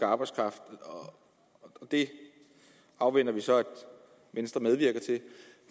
arbejdskraft og det afventer vi så at venstre medvirker til